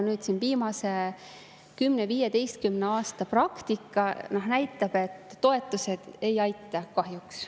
Viimase 10–15 aasta praktika näitab, et toetused ei aita kahjuks.